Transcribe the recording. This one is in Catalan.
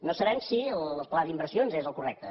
no sabem si el pla d’inversions és el correcte